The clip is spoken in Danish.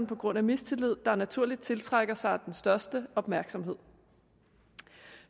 på grund af mistillid der naturligt tiltrækker sig den største opmærksomhed